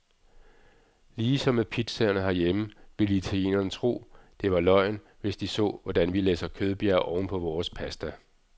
Lige som med pizzaerne herhjemme, ville italienerne tro, det var løgn, hvis de så, hvordan vi læsser kødbjerge oven på vores pasta.